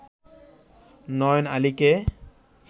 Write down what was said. নয়ন আলীকে